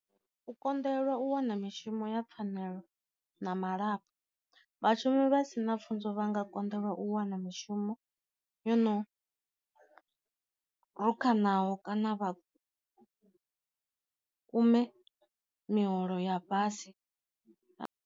U konḓelwa u wana mishumo ya pfanelo na malapfu, vhashumi vha si na pfunzo vha nga konḓelwa u wana mishumo yono naho kana vha kume miholo ya fhasi.